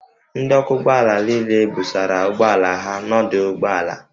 Ndị ọkwọ ụgbọ ala niile busara ụgbọala ha n'ọdụ ụgbọ ala